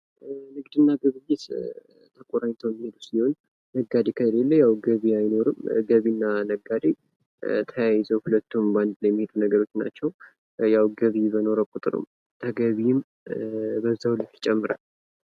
ንግድና ግብይት ተቆራኝተው የሚሄዱ ሲሆን ነጋዴ ከሌለህ ያው ገዢ አይኖርም ገዥና ነጋዴ ተያይዘው ሁለቱም በአንድ ላይ የሚሄዱ ነገሮች ናቸው። ያው ገቢ በኖረ ቁጥርም በዛው ልክ ይጨምራል።